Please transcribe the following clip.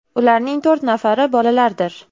Ularning to‘rt nafari bolalardir.